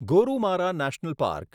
Gorumara national park